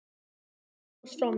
Þú fórst frá mér.